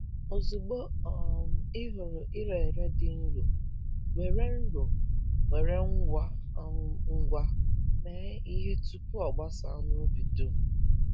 Ozugbo um ị hụrụ ire ere dị nro, were nro, were ngwa um ngwa mee ihe tupu o gbasaa n’ubi dum.